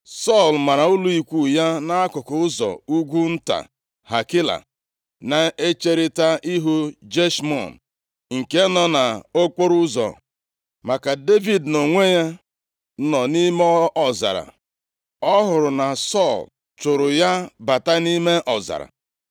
Sọl mara ụlọ ikwu ya nʼakụkụ ụzọ ugwu nta Hakila na ncherita ihu Jeshimọn nke nọ nʼokporoụzọ. Ma ka Devid nʼonwe ya nọ nʼime ọzara, ọ hụrụ na Sọl chụụrụ ya bata nʼime ọzara,